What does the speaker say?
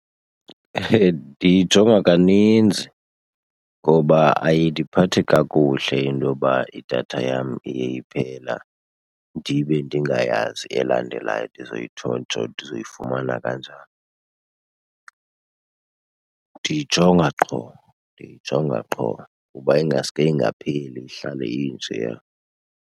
Ndiyijonga kaninzi ngoba ayindiphathi kakuhle into yoba idatha yam iye iphela ndibe ndingayazi elandelayo ndizoyifumana kanjani. Ndiyijonga qho, ndiyijonga qho kuba ingaske ingapheli ihlale injeya.